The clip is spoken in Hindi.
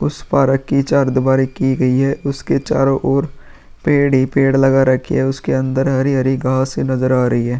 उस पारक की चार दीवारी की गयी है। उसके चारो ओर पेड़ ही पेड़ लगा रखी है। उसके अंदर हरी-हरी घास नजर आ रही है।